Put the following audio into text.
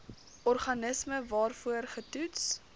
organisme waarvoor getoets